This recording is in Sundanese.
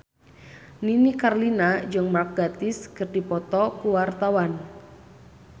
Nini Carlina jeung Mark Gatiss keur dipoto ku wartawan